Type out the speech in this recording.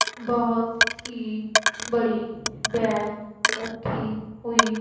बहोत ही बड़ी वैन रखी हुई--